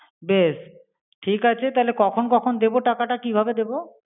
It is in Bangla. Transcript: বেশ, ঠিকাছে থালে কখন কখন দেব টাকাটা কিভাবে দেব?